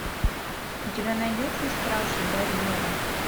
у тебя найдется стражи барьера